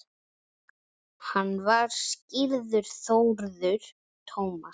Hann var skírður Þórður Tómas.